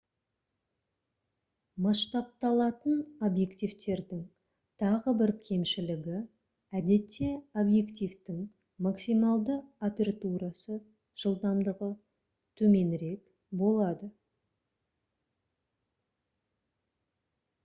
масштабталатын объективтердің тағы бір кемшілігі — әдетте объективтің максималды апертурасы жылдамдығы төменірек болады